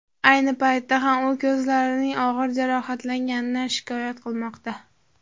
Ayni paytda ham u ko‘zlarining og‘ir jarohatlanganidan shikoyat qilmoqda.